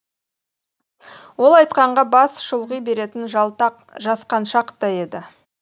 ол айтқанға бас шұлғи беретін жалтақ жасқаншақ та еді